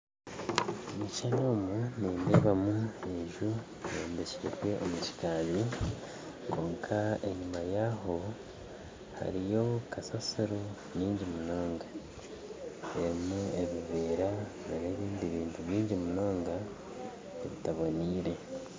Omu kishushani omu nindeebamu enju eyombekire gye omu kikaari kwonka enyima yaayo hariyo kasasiro nyingi munonga erimu ebiveera n'ebindi bintu bingi munonga ebitaboneire